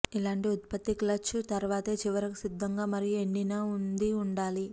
ఈలాంటి ఉత్పత్తి క్లచ్ తర్వాతే చివరకు సిద్ధంగా మరియు ఎండిన ఉంది ఉండాలి